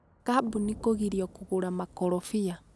kambunĩ kugirio kugura makorobia.